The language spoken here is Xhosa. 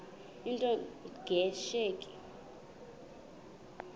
into nge tsheki